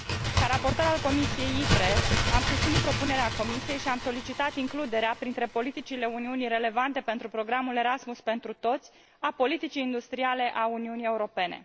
Ca raportor al Comisiei ITRE, am susținut propunerea Comisiei și am solicitat includerea printre politicile Uniunii relevante pentru programul Erasmus pentru toți a politicii industriale a Uniunii Europene.